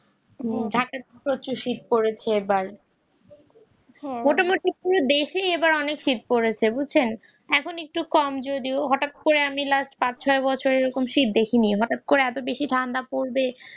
হুম ঢাকায় প্রচুর শীত পড়েছে আবার দেশে অনেক সিট পড়েছেন বুঝলেন এখন একটু কম যদি হঠাৎ করে লাস্ট পাঁচ ছয় বছরে সিট দেখেনি হঠাৎ করে এত বেশি ঠান্ডা পড়বে